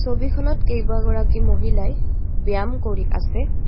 ছবিখনত কেইবাগৰাকী মহিলাই ব্যয়াম কৰি আছে.